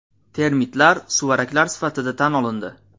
Termitlar suvaraklar sifatida tan olindi.